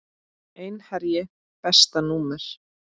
Einherji Besta númer?